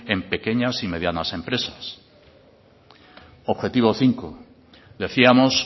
en pequeñas y medianas empresas objetivo cinco decíamos